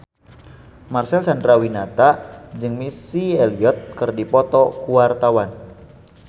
Marcel Chandrawinata jeung Missy Elliott keur dipoto ku wartawan